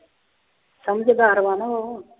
ਸਮਝਦਾਰ ਵਾ ਨਾ ਉਹ।